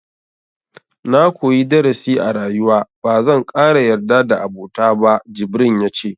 Na koyi darasi a rayuwa, ba zan ƙara yarda da abota ba, jibrin ya ce.